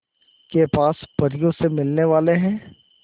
के पास परियों से मिलने वाले हैं